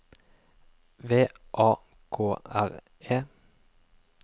V A K R E